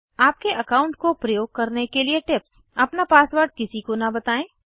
आपके अकाउंट को प्रयोग करने के लिए टिप्स अपना पासवर्ड किसी को न बताएं